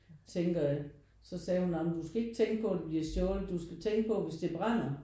Tænker at så sagde hun ej men du skal ikke på at det bliver stjålet du skal tænke på hvis det brænder